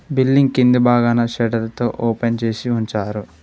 Billing కింది భాగాన షెడర్ తో ఓపెన్ చేసి ఉంచారు.